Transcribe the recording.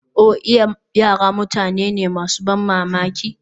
Oh iya! Yara mutane ne masu ban mamaki.